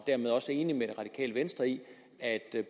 dermed også er enig med det radikale venstre i at